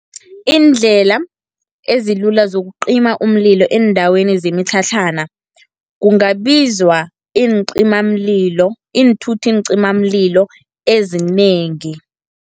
Iindlela ezilula zokucima umlilo eendaweni zemitlhatlhana, kungabizwa iincimamlilo, iinthuthi-ncimamlilo ezinengi.